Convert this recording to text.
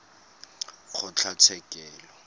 kgotlatshekelo